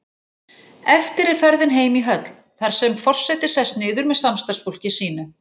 Eftir er ferðin heim í höll, þar sem forseti sest niður með samstarfsfólki sínu.